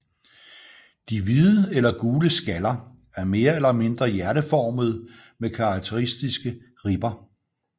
De hvide eller gule skaller er mere eller mindre hjerteformede med karakteristiske ribber